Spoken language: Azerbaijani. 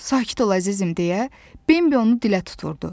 Sakit ol əzizim deyə Bəbi onu dilə tuturdu.